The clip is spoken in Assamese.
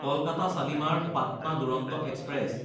কলকাতা শালিমাৰ–পাটনা দুৰন্ত এক্সপ্ৰেছ